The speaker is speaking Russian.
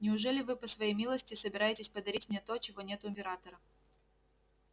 неужели вы по своей милости собираетесь подарить мне то чего нет у императора